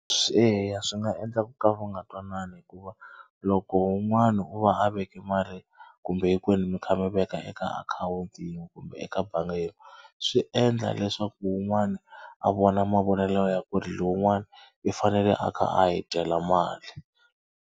Swi eya swi nga endla ku ka va nga twanana hikuva loko un'wana wo va a veke mali kumbe hinkwenu mi kha mi veka eka akhawunti yin'we kumbe eka bangi yin'we swi endla leswaku wun'wani a vona mavonelo ya ku ri lowun'wani u fanele a kha a hi dyela mali.